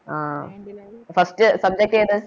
ആഹ് First subject ഏത്